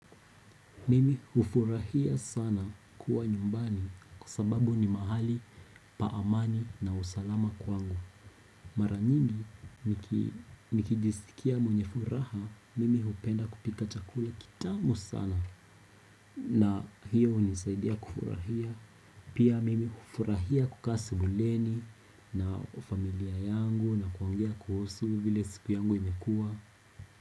Mimi ufurahia sana kuwa nyumbani kwa sababu ni mahali pa amani na usalama kwangu Mara nyingi nikijisikia mwenye furaha, mimi upenda kupika chakula kitamu sana na hiyo unisaidia kufurahia Pia mimi ufurahia kukaa sebuleni na familia yangu na kuongea kuhusu vile siku yangu imekuwa.